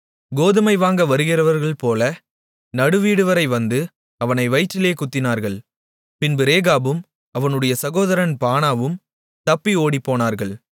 கோதுமை வாங்க வருகிறவர்கள்போல நடுவீடுவரை வந்து அவனை வயிற்றிலே குத்தினார்கள் பின்பு ரேகாபும் அவனுடைய சகோதரன் பானாவும் தப்பி ஓடிப்போனார்கள்